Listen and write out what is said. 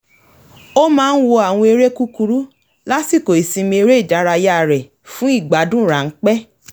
ó máa ń wo àwọn eré kúkúrú lásìkò ìsinmi eré ìdárayá rẹ̀ fún ìgbádùn ráńpẹ́